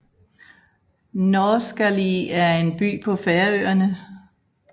Norðskáli er en by på Færøerne